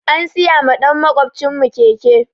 An siya ma ɗan makwaɓcin mu keke